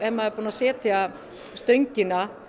maður búinn að setja stöngina